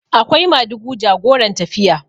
akwai madugu jagoran tafiya